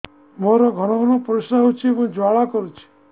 ମୋର ଘନ ଘନ ପରିଶ୍ରା ହେଉଛି ଏବଂ ଜ୍ୱାଳା କରୁଛି